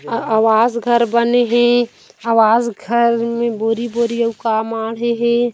आवास घर बने हे आवास घर मे बोरी-बोरी आऊ का माड़े हे।